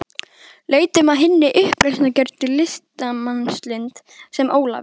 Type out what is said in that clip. Leitum að hinni uppreisnargjörnu listamannslund, sem Ólafur